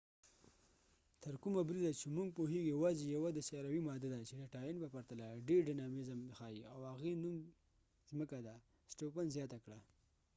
تر کومه بریده چې موږ پوهیږو یواځی یوه د سیاروي ماده ده چې د ټاین په پرتله ډیر ډاینامیزم ښایې او هغې نو م ځمکه ده سټوفن stofan زیاته کړه